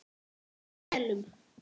Í felum?